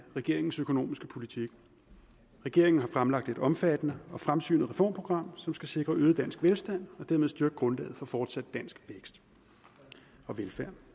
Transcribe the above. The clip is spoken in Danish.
af regeringens økonomiske politik regeringen har fremlagt et omfattende og fremsynet reformprogram som skal sikre øget dansk velstand og dermed styrke grundlaget for fortsat dansk vækst og velfærd